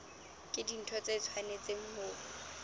ke dintho tse tshwanetseng ho